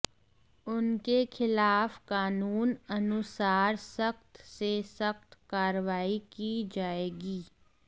उनके खिलाफ कानून अनुसार सख्त से सख्त कार्रवाई की जाएगी